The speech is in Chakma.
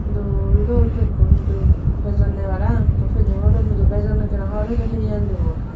dol dol pekkun dub bejonne parapang ekku pedung oloun hudu bejon hobor pedung hini anidunggoi.